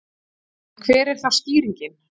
En hver er þá skýringin?